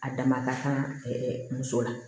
A dama ka ca ɛɛ muso la